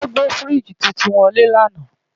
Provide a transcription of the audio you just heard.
Wọ́n gbé fíríjì titun wọlé lánàá